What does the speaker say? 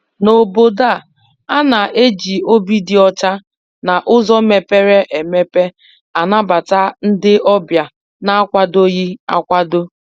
N' Obodo a, a na-eji obi dị ọcha na uzo mepere emepe anabata ndị ọbịa na-akwadoghi akwado.